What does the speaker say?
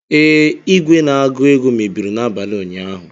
Ee, igwe na-agụ ego mebiri n'abalị ụnyaahụ